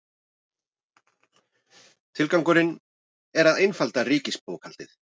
Tilgangurinn er að einfalda ríkisbókhaldið